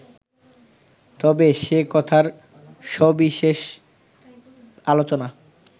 তবে সে কথার সবিশেষ আলোচনা